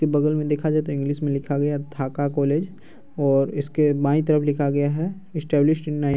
के बगल में देखा जाये तो इंग्लिश में लिखा गया थाका कॉलेज और इसके बाई तरफ लिखा गया हैं इस्टैब्लिश इन --